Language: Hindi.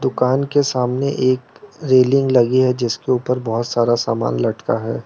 दुकान के सामने एक रेलिंग लगी है जिसके ऊपर बहोत सारा सामान लटका है।